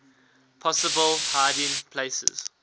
possible hiding places